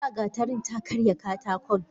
Tasa gatarin ta karya katakon.